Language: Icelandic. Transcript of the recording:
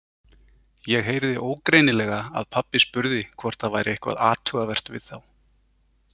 Ég heyrði ógreinilega að pabbi spurði hvort það væri eitthvað athugavert við þá.